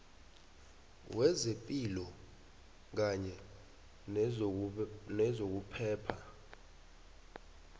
wezepilo kanye nezokuphepha